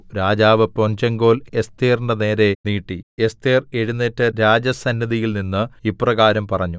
രാജാവ് പൊൻചെങ്കോൽ എസ്ഥേറിന്റെ നേരെ നീട്ടി എസ്ഥേർ എഴുന്നേറ്റ് രാജസന്നിധിയിൽനിന്ന് ഇപ്രകാരം പറഞ്ഞു